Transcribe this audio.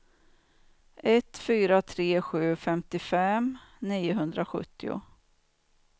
ett fyra tre sju femtiofem niohundrasjuttio